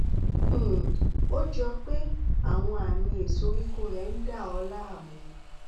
um ó jọ pé àwọn àmì ìsoríkọ rẹ ń dà ọ láàmú